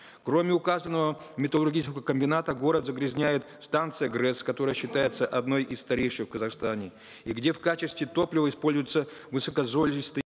кроме указанного металлургичекого комбината город загрязняет станция грэс которая считается одной из старейших в казахстане и где в качестве топлива используется высокозолистый